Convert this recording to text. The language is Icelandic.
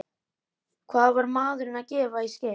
Hvað var maðurinn að gefa í skyn?